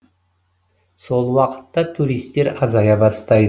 сол уақытта туристер азая бастайды